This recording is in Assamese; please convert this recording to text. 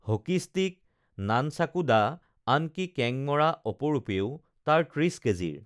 হকিষ্টিক নানচাকু দা আনকি কেঙমৰা অপৰূপেও তাৰ ত্ৰিচ কেজিৰ